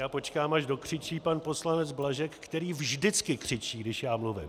Já počkám, až dokřičí pan poslanec Blažek, který vždycky křičí, když já mluvím.